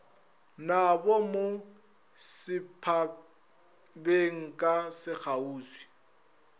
nabo mo setphabeng ka sekgauswi